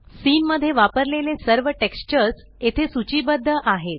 scene मध्ये वापरलेले सर्व टेक्स्चर्स येथे सूचीबद्ध आहेत